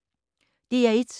DR1